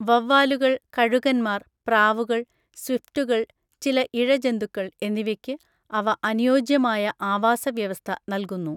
വവ്വാലുകൾ, കഴുകന്മാർ, പ്രാവുകൾ, സ്വിഫ്റ്റുകൾ, ചില ഇഴജന്തുക്കൾ എന്നിവയ്ക്ക് അവ അനുയോജ്യമായ ആവാസ വ്യവസ്ഥ നൽകുന്നു.